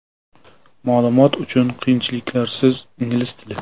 Ma’lumot uchun: qiyinchiliklarsiz ingliz tili .